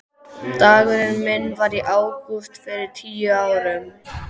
Dagurinn minn var í ágúst fyrir tíu árum.